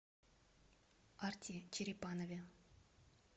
арти черепанове